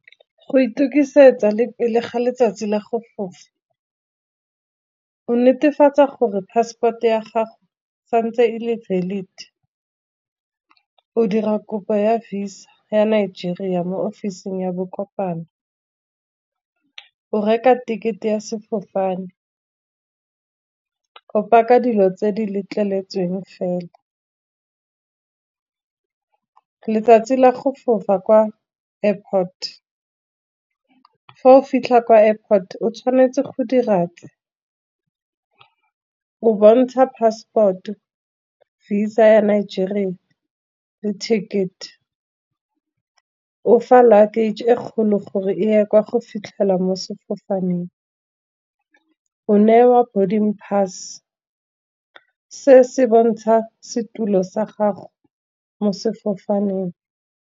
Go itukisetsa le letsatsi la go fofa o netefatsa gore passport ya gago, santse e le valid. O dira kopo ya visa ya Nigeria mo officing ya bo kopano, o reka ticket-e ya sefofane, o paka dilo tse di letleletsweng fela. Letsatsi la go fofa kwa airport, fa o fitlha ko airport o tshwanetse go dira tse, o bontsha passport, visa ya Nigeria le ticket. O fa luggage e kgolo gore e ya kwa go fitlhela mo sefofaneng, o newa body pass se se bontsha setulo sa gago mo sefofaneng.